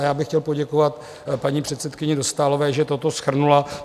A já bych chtěl poděkovat paní předsedkyni Dostálové, že toto shrnula.